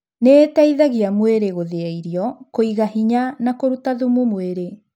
Nĩ ĩteithagia mwĩrĩ gũthĩa irio, kũiga hĩnya na kũruta thumu mwĩrĩ.